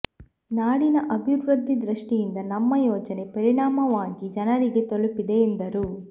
ನಾಡಿನ ಅಭಿವೃದ್ಧಿ ದೃಷ್ಟಿಯಿಂದ ನಮ್ಮ ಯೋಜನೆ ಪರಿಣಾಮವಾಗಿ ಜನರಿಗೆ ತಲುಪಿದೆ ಎಂದರು